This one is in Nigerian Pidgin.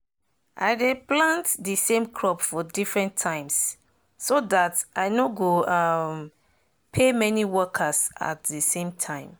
i dey plant de same crop for different times so dat i nor go um pay many workers at de same time